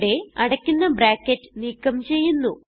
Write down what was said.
ഇവിടെ അടയ്ക്കുന്ന ബ്രാക്കറ്റ് നീക്കം ചെയ്യുന്നു